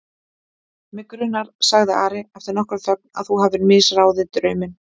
Mig grunar, sagði Ari eftir nokkra þögn,-að þú hafir misráðið drauminn.